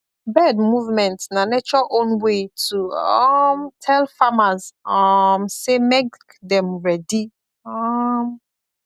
bird movement na nature own way to um tell farmers um say make dem ready um